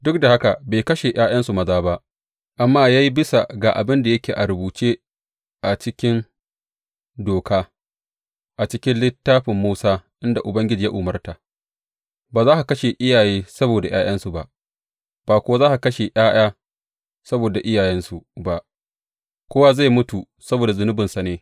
Duk da haka bai kashe ’ya’yansu maza ba amma ya yi bisa ga abin da yake a rubuce a cikin Doka, a cikin Littafin Musa, inda Ubangiji ya umarta, Ba za a kashe iyaye saboda ’ya’yansu ba; ba kuwa za a kashe ’ya’ya saboda iyayensu ba; kowa zai mutu saboda zunubansa ne.